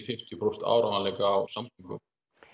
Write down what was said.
fimmtíu prósent áreiðanleika á samgöngum